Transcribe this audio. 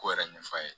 Ko yɛrɛ ɲɛf'a ye